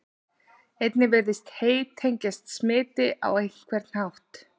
Einnig virðist hey tengjast smiti á einhvern hátt.